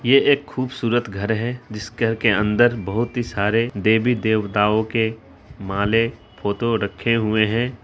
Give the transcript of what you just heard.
ये एक खूबसूरत घर है जिसके घर अंदर बहुत ही सारे देवी-देवताओ के माले फोटो रखे हुए है।